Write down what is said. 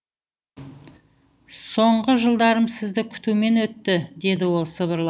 соңғы жылдарым сізді күтумен өтті деді ол сыбырлап